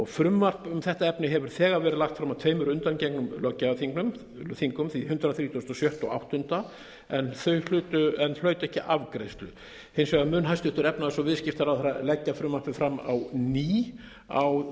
frumvarp um þetta efni hefur þegar verið lagt fram á tveimur undangengnum löggjafarþingum því hundrað þrítugasta og sjötta og hundrað þrítugasta og áttundi en hlaut ekki afgreiðslu hins vegar mun hæstvirtur efnahags og viðskiptaráðherra leggja frumvarpið fram á ný á